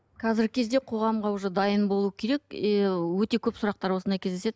қазіргі кезде қоғамға уже дайын болу керек и өте көп сұрақтар осындай кездеседі